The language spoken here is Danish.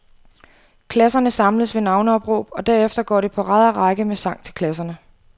Klasserne samles ved navneopråb, og derefter går det på rad og række med sang til klasserne.